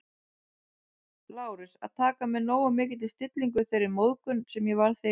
Lárus, að taka með nógu mikilli stillingu þeirri móðgun, sem ég varð fyrir